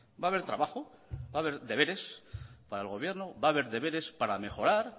va a haber trabajo va a haber deberes para el gobierno va a haber deberes para mejorar